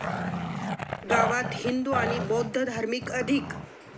गावात हिंदू आणि बौद्धधार्मिक अधिक.